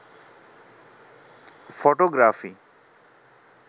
photography